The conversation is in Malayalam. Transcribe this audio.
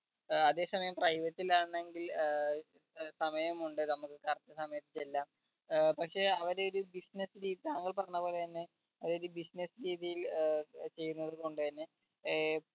ഏർ അതെ സമയം private ലാണെങ്കിൽ ഏർ സമയമുണ്ട് നമ്മക്ക് correct സമയത്ത് എല്ലാം ഏർ പക്ഷെ അവർ ഒരു business രീതി താങ്കൾ പറഞ്ഞപോലെ തന്നെ ഒരു business രീതിയിൽ ഏർ ചെയ്യുന്നത് കൊണ്ട് തന്നെ ഏർ